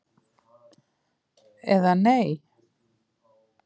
eða Nei?